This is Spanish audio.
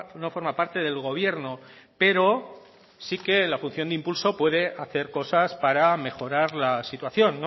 no forma parte del gobierno pero sí que la función de impulso puede hacer cosas para mejorar la situación